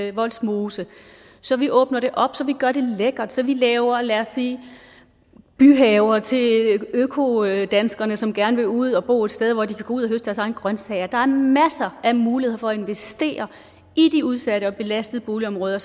i vollsmose så vi åbner det op så vi gør det lækkert så vi laver lad os sige byhaver til økodanskerne som gerne vil ud og bo et sted hvor de kan gå ud og høste deres egne grønsager der er masser af muligheder for at investere i de udsatte og belastede boligområder